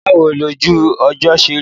Báwo lojú ọjọ́ ṣe rí?